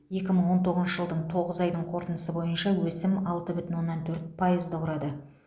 екі мың он тоғызыншы жылдың тоғыз айдың қорытындысы бойынша өсім алты бүтін оннан төрт пайызды құрады